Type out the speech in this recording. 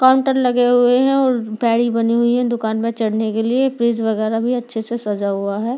Counter लगे हुए है और बनी हुई है दुकान पे चढ़ने के लिए वगैरा भी अच्छे से सजा हुआ है।